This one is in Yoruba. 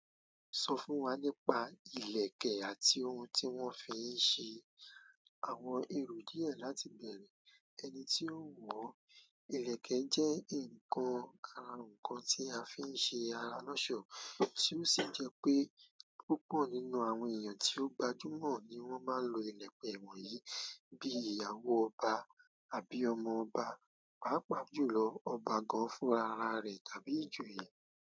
Sọ fún wa nípa ìlẹ̀kẹ̀ àti ohun tí wọ́n fi ń ṣe. Àwọn èrò díẹ̀ láti bẹ̀rẹ̀, ẹni tí ó wọ̀ ìlẹ̀kẹ̀ jẹ́ ǹkan ara ǹkan tí a fi ń ṣe ara lọ́ṣọ̀ọ́, tí ó sì jẹ́ pé púpọ̀ nínú àwọn èèyàn tí ó gbajúmọ̀ ni wọ́n máa ń lo ìlẹ̀kẹ̀ wọ̀nyìí, bí ìyàwó ọba àbí ọmọ ọba, pàápàá jùlọ ọba gan-an fún ara rẹ̀ tàbí ìjòyè.